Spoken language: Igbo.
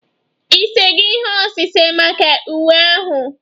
Ị sego ihe osise maka uwe ahụ?